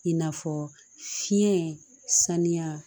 I n'a fɔ fiɲɛ saniya